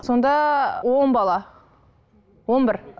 сонда он бала он бір